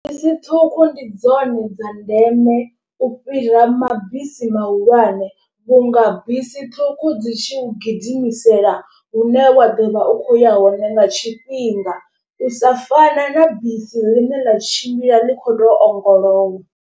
Bisi ṱhukhu ndi dzone dza ndeme u fhira mabisi mahulwane. Vhunga bisi ṱhukhu dzi tshi u gidimisela hune wa ḓo vha u khou ya hone nga tshifhinga u sa fana na bisi ḽine ḽa tshimbila ḽi kho to ongolowa.